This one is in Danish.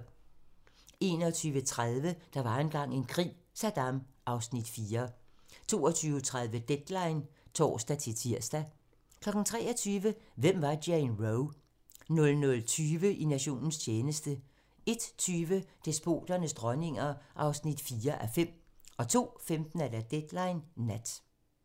21:30: Der var engang en krig - Saddam (Afs. 4) 22:30: Deadline (tor-tir) 23:00: Hvem var Jane Roe? 00:20: I nationens tjeneste 01:20: Despoternes dronninger (4:5) 02:15: Deadline Nat